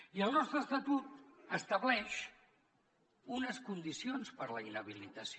i el nostre estatut estableix unes condicions per a la inhabilitació